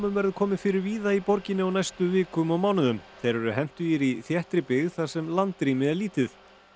verður komið fyrir víða í borginni á næstu vikum og mánuðum þeir eru hentugir í þéttri byggð þar sem landrými er lítið